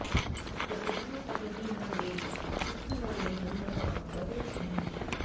कृसधन सखहि न देब दुख मुएहुँ न मागब नीच